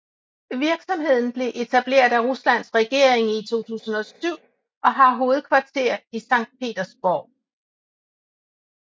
Virksomheden blev etableret af Ruslands regering i 2007 og har hovedkvarter i Sankt Petersborg